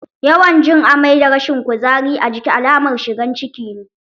Yawan jin amai da rashin kuzari a jiki alamar shigan ciki ne.